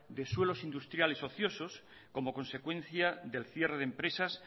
de suelos industriales ociosos como consecuencia del cierre de empresas